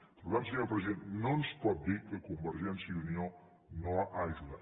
per tant senyor president no ens pot dir que convergència i unió no ha ajudat